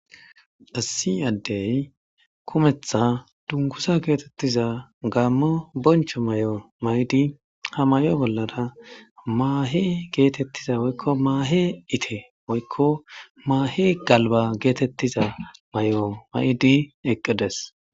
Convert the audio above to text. assi addey kumetha dungusa geetettiza gaammo boncho may7o may7di ha may7o bollada maahe geetettiza woykko maahe ite woykko maahe galba geetettiza may7o may7di eqqides